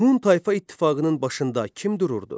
Hun tayfa ittifaqının başında kim dururdu?